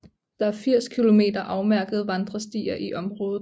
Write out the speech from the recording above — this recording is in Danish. Der er 80 kilometer afmærkede vandrestier i området